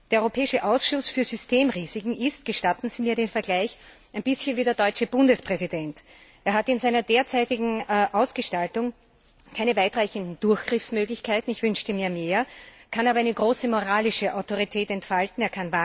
Der Europäische Ausschuss für Systemrisiken ist gestatten Sie mir den Vergleich ein bisschen wie der deutsche Bundespräsident. Er hat in seiner derzeitigen Ausgestaltung keine weitreichenden Durchgriffsmöglichkeiten ich wünschte mir mehr kann aber eine große moralische Autorität entfalten